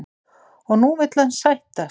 Og nú vill hann sættast?